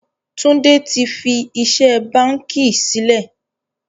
Tunde tí fí iṣẹ́ báńkì sílẹ̀